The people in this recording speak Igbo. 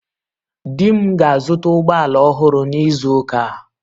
Di m ga-azụta ụgbọ ala ọhụrụ n'izu ụka a